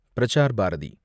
Prasar Bharathi